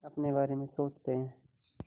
अपने बारे में सोचते हैं